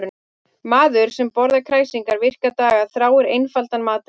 Maður sem borðar kræsingar virka daga þráir einfaldan mat um helgar.